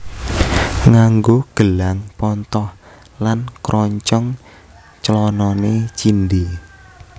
Nganggo gelang pontoh lan kroncong clanane cindhe